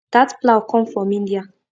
that plough come from india